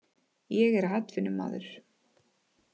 Ég er atvinnumaður.